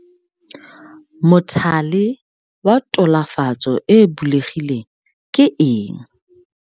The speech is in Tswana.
Mothale wa tulafatso e e bulegileng ke eng?